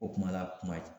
O kuma la kuma ye